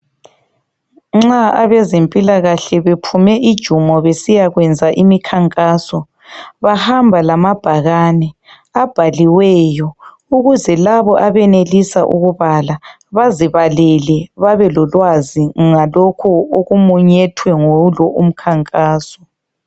Nxa abezempilakahle bephume ijumo besiyakwenza imikhankaso bahamba lamabhakane abhaliweyo ukuze labo abenelisa ukubala bazibalele babe lolwazi ngalokho okumunyethwe yilo umkhankaso.